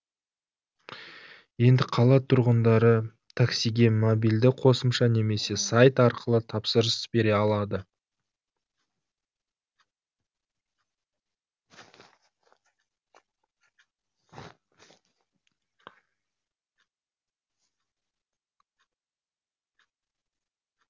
енді қала тұрғындары таксиге мобильді қосымша немесе сайт арқылы тапсырыс бере алады